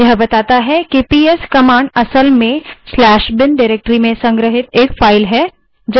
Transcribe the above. यह बताता है कि ps कमांड असल में स्लैश bin bin directory में संग्रहित एक file है